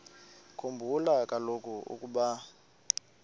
khumbula kaloku ukuba